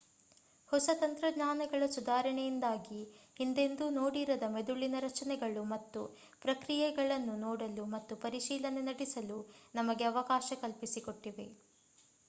ಹೊಸ ತಂತ್ರಜ್ಞಾನಗಳ ಸುಧಾರಣೆಯಿಂದಾಗಿ ಹಿಂದೆಂದೂ ನೋಡಿರದ ಮೆದುಳಿನ ರಚನೆಗಳು ಮತ್ತು ಪ್ರಕ್ರಿಯೆಗಳನ್ನು ನೋಡಲು ಮತ್ತು ಪರಿಶೀಲನೆ ನಡೆಸಲು ನಮಗೆ ಅವಕಾಶ ಕಲ್ಪಿಸಿಕೊಟ್ಟಿವೆ